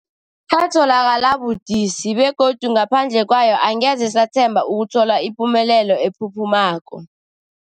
Yatholakala budisi, begodu ngaphandle kwayo angeze sathemba ukuthola ipumelelo ephuphumako.